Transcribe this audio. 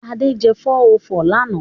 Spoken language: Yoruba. Ade jẹ 404 lánàá.